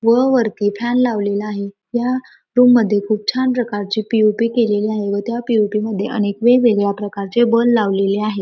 व वरती फॅन लावलेला आहे ह्या रूम मध्ये खूप छान प्रकारची पी..ओ.पी केलेली आहे व त्या पी.ओ.पी मध्ये अनेक प्रकारचे वेगवेगळे बल्ब लावलेले आहेत.